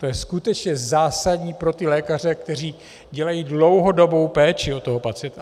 To je skutečně zásadní pro ty lékaře, kteří dělají dlouhodobou péči o toho pacienta.